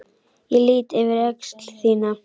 Ég lýt yfir öxl þína.